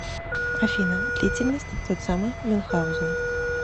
афина длительность тот самый мюнхаузен